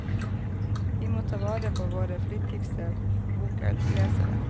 Vi må ta vare på våre flittigste boklesere.